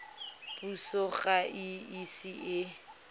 puso ga e ise e